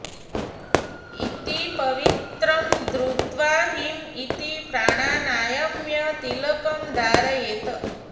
इति पवित्रं धृत्वा ह्रीं इति प्राणानायम्य तिलकं धारयेत्